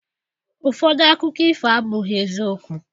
Ụfọdụ akụkọ ifo abụghị eziokwu